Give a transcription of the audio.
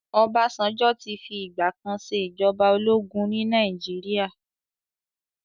Ọbásanjọ́ ti fi ìgbà kan ṣe ìjọba ológun ní Nàìjíríà.